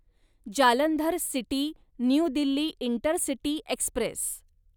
Jalandhar city New Delhi intercity Express